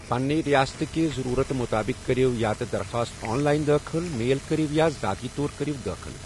پنٛنہِ رِیاستہٕ کہِ ضٔروٗرتہٕ مُطٲبِق کٔرِو یا تہِ درخاست آن لایِن دٲخل ، میل کٔرِو، یا ذٲتی طور كریو دٲخل ۔